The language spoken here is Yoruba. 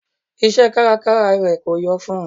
Iṣẹ́ kárakára rẹ̀ kò yọ fún n.